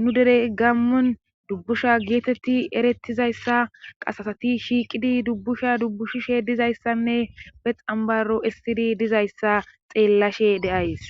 nu dere gammon dubbusha geetetti erettizayssa qasasati shiiqidi dubbusha dubbushushe dizayssanne pexambaro essidi dizayssa xeellashe de'ays